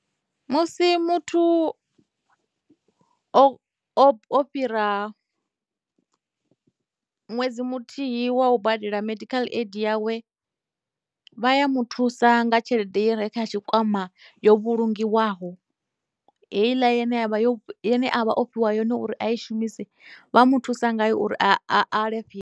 Musi muthu o fhira ṅwedzi muthihi wa u badela medical aid yawe vha ya muthusa nga tshelede i re kha tshikwama yo vhulungiwaho heiḽa yo ane avha o fhiwa yone uri a i shumisi vha mu thusa ngayo uri .